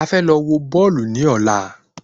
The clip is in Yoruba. A fẹ́ lọ wọ Bọ́ọ̀lù ní ọ̀la